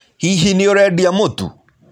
Hihi nĩ ũrendia mũtu?